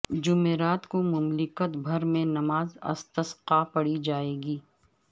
جمعرات کو مملکت بھر میں نماز استسقاءپڑھی جائے گی